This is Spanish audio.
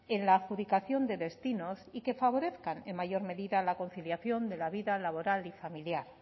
en la adjudicación de destinos y que favorezcan en mayor medida a la conciliación de la vida laboral y familiar